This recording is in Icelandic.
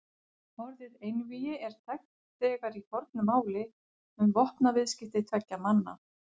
Orðið einvígi er þekkt þegar í fornu máli um vopnaviðskipti tveggja manna.